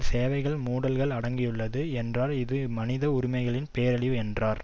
சேவைகள் மூடல்கள் அடங்கியுள்ளது என்றார் இது மனித உரிமைகளின் பேரழிவு என்றார்